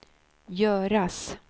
göras